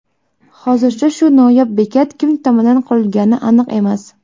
Hozircha bu noyob bekat kim tomonidan qurilgani aniq emas.